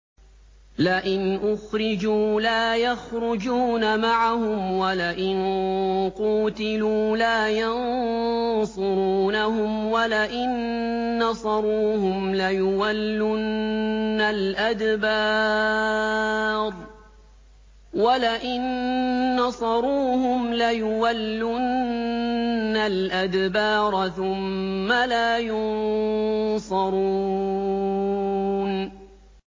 لَئِنْ أُخْرِجُوا لَا يَخْرُجُونَ مَعَهُمْ وَلَئِن قُوتِلُوا لَا يَنصُرُونَهُمْ وَلَئِن نَّصَرُوهُمْ لَيُوَلُّنَّ الْأَدْبَارَ ثُمَّ لَا يُنصَرُونَ